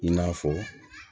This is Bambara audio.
I n'a fɔ